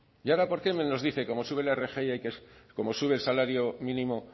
y ahora por qué nos dice que como sube la rgi hay como sube el salario mínimo